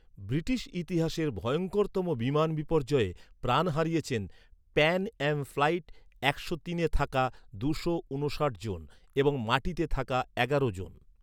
British ইতিহাসের ভয়ঙ্করতম বিমান বিপর্যয়ে প্রাণ হারিয়েছেন, প্যান অ্যাম ফ্লাইট একশো তিনে থাকা দুশো ঊনষাট জন, এবং মাটিতে থাকা এগারো জন।